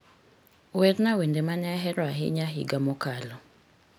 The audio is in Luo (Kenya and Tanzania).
werna wende mane ahero ahinya higa mokalo